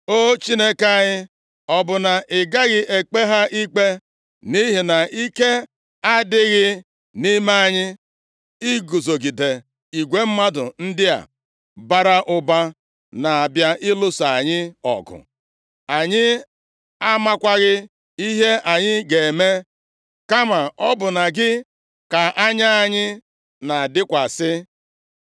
O Chineke anyị, ọ bụ na ị gaghị ekpe ha ikpe? Nʼihi na ike adịghị nʼime anyị iguzogide igwe mmadụ ndị a bara ụba na-abịa ịlụso anyị ọgụ. Anyị amakwaghị ihe anyị ga-eme, kama ọ bụ na gị ka anya anyị na-adịkwasị.”